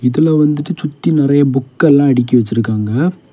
இதுல வந்துட்டு சுத்தி நெறைய புக் எல்லா அடுக்கி வச்சிருக்காங்க.